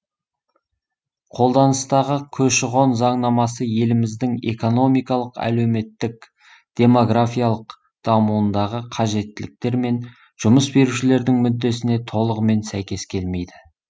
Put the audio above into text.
қолданыстағы көші қон заңнамасы еліміздің экономикалық әлеуметтік демографиялық дамуындағы қажеттіліктер мен жұмыс берушілердің мүддесіне толығымен сәйкес келмейді